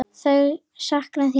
Þau sakna þín öll.